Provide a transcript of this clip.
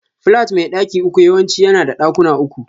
Flat mai daki uku yawanci yana da ɗakuna uku.